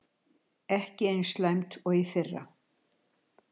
Ekki eins slæmt og í fyrra